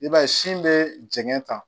I b'a ye sin bɛ jɛngɛ tan